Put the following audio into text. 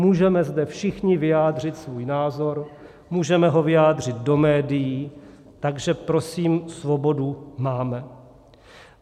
Můžeme zde všichni vyjádřit svůj názor, můžeme ho vyjádřit do médií, takže prosím svobodu máme.